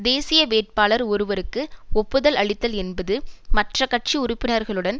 தேசிய வேட்பாளர் ஒருவருக்கு ஒப்புதல் அளித்தல் என்பது மற்ற கட்சி உறுப்பினர்களுடன்